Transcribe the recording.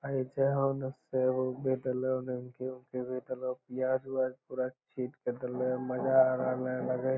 ए जा होअ ना से उ प्याज उयाज पूरा छिल के देलो मजा आ रहले लगे --